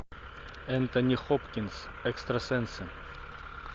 энтони хопкинс экстрасенсы